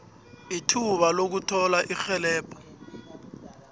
ithuba lokuthola irhelebho